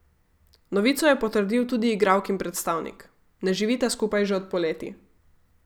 Novico je potrdil tudi igralkin predstavnik: "Ne živita skupaj že od poleti.